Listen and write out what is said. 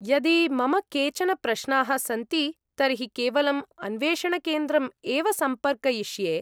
यदि मम केचन प्रश्नाः सन्ति तर्हि केवलम् अन्वेषणकेन्द्रम् एव सम्पर्कयिष्ये।